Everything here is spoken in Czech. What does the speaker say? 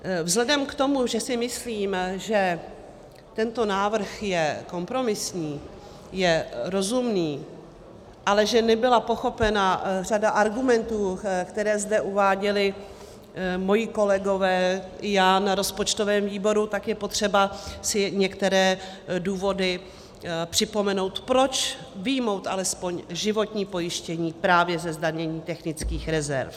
Vzhledem k tomu, že si myslím, že tento návrh je kompromisní, je rozumný, ale že nebyla pochopena řada argumentů, které zde uváděli moji kolegové i já na rozpočtovém výboru, tak je potřeba si některé důvody připomenout, proč vyjmout alespoň životní pojištění právě ze zdanění technických rezerv.